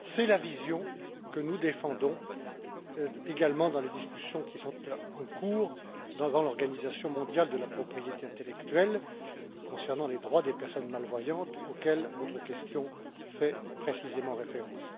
C'est la vision que nous défendons également dans les discussions en cours au sein de l'Organisation mondiale de la propriété intellectuelle concernant les droits des personnes malvoyantes auxquels votre question fait précisément référence.